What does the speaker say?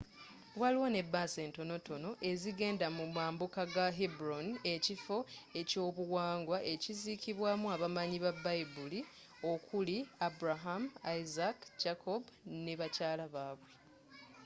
waliwo ne bus entonotono ezigenda mu mambuka ga hebron ekifo ekyebyobuwangwa ekizikibwamu abamanyi babayibuli okuli abraham isaac jacob ne bakyala babwe